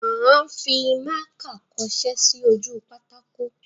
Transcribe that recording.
À ń fimákà kọṣẹ́ sí ojú pátákó.